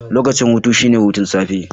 Lokacin hutu shine hudu na safe.